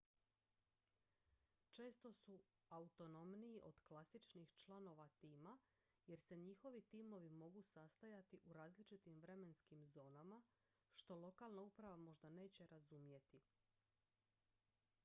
često su autonomniji od klasičnih članova tima jer se njihovi timovi mogu sastajati u različitim vremenskim zonama što lokalna uprava možda neće razumjeti